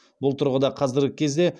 бұл тұрғыда қазіргі кезде